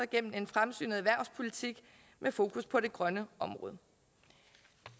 gennem en fremsynet erhvervspolitik med fokus på det grønne område